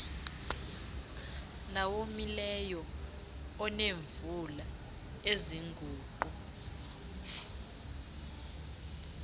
nowomileyo oneemvula eziguqu